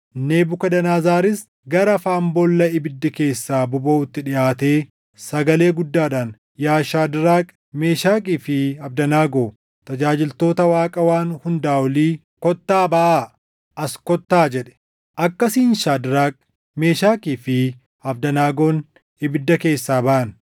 Nebukadnezaris gara afaan boolla ibiddi keessaa bobaʼutti dhiʼaatee sagalee guddaadhaan, “Yaa Shaadraak, Meeshakii fi Abdanaagoo, tajaajiltoota Waaqa Waan Hundaa Olii, kottaa baʼaa! As kottaa” jedhe. Akkasiin Shaadraak, Meeshakii fi Abdanaagoon ibidda keessaa baʼan;